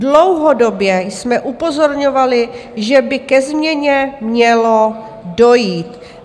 Dlouhodobě jsme upozorňovali, že by ke změně mělo dojít.